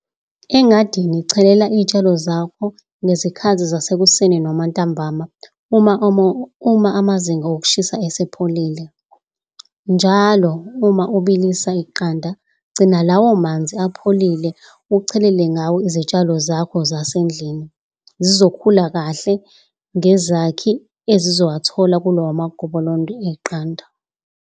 Engadini chelela njalo izitshalo zakho ngezikhathi zasekuseni noma ntambama, uma amazinga okushisa esepholile. Njalo uma ubilisa iqanda, gcina lawo manzi apholile ukuchelela ngawo izitshalo zakho zasendlini. Zizokhula kahle ngezakhi ezizozithola kwigobolondo leqanda.